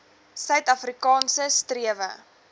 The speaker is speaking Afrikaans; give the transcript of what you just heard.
suid afrikaanse strewe